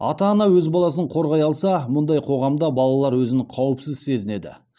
ата ана өз баласын қорғай алса мұндай қоғамда балалар өзін қауіпсіз сезінеді